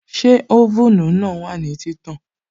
Ṣé oven náà wà ní títàn?